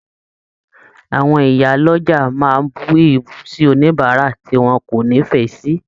Àwọn ìyá l'ọja máa bù èébù sí oníbárà tí wọn kò n'ifẹ sí.